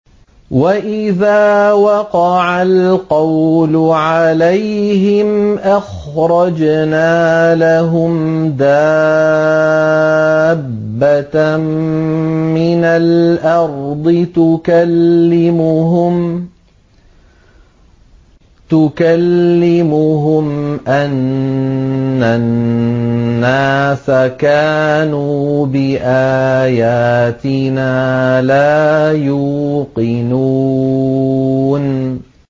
۞ وَإِذَا وَقَعَ الْقَوْلُ عَلَيْهِمْ أَخْرَجْنَا لَهُمْ دَابَّةً مِّنَ الْأَرْضِ تُكَلِّمُهُمْ أَنَّ النَّاسَ كَانُوا بِآيَاتِنَا لَا يُوقِنُونَ